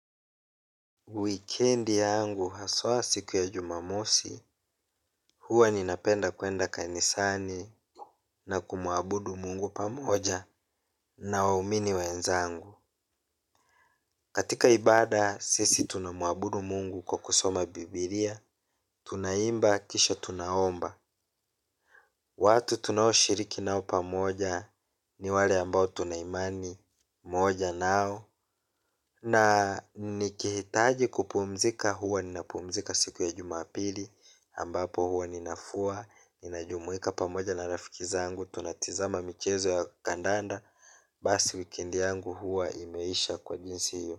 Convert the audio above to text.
Wekendi yangu haswa siku ya Jumamosi, huwa ninapenda kwenda kanisani na kumuabudu Mungu pamoja na waumini wenzangu. Katika ibada, sisi tunamuabudu Mungu kwa kusoma Bibilia, tunaimba kisha tunaomba. Watu tunao shiriki nao pamoja ni wale ambao tunaimani moja nao. Na nikihitaji kupumzika huwa, ninapumzika siku ya Jumapili ambapo huwa ninafua, ninajumuika pamoja na rafiki zangu. Tunatizama michezo ya kandanda. Basi wikendi yangu huwa imeisha kwa jinsi hiyo.